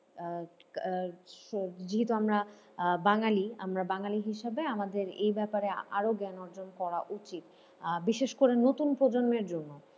আহ আহ যেহেতু আমরা বাঙালি আমরা বাঙালি হিসেবে আমাদের এই ব্যাপারে আরও জ্ঞান অর্জন করা উচিত আহ বিশেষ করে নতুন প্রজন্মের জন্য।